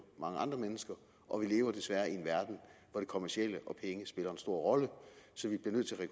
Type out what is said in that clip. mange andre mennesker og vi lever desværre i en verden hvor det kommercielle og penge spiller en stor rolle så vi bliver nødt til